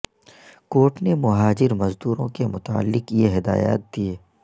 court نے مہاجر مزدوروں کے متعلق یہ ہدایات دیے